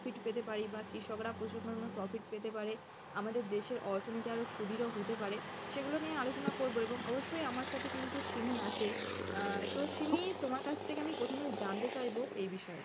বা কৃষকরা প্রচুর পরিমাণে profit পেতে পারে, আমাদের দেশের অর্থনীতি আরো সুদৃঢ় হতে পারে সেগুলো নিয়ে আলোচনা করবো এবং অবশ্যই আমার সাথে কিন্তু সিমি আছে আহ তো সিমি তোমার কাছ থেকে আমি প্রথমে জানতে চাইবো, এই বিষয়ে,